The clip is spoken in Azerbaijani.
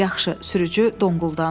Yaxşı, sürücü donquldandı.